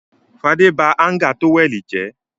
Fadé ba háńgà tówẹ́lì jẹ́.